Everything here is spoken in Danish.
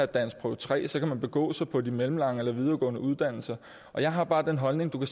danskprøve tre kan man begå sig på de mellemlange eller videregående uddannelser jeg har bare den holdning